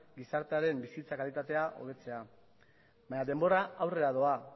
gizartearen bizitza kalitatea hobetzea baina denbora aurrera doa